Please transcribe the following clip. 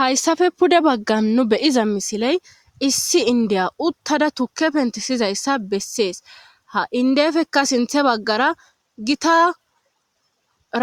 Hayssafe pude baggan nu beyiza misiley issi indiya uttada tukke pentisizayssa bessees ha indefekka sinthe baggara gita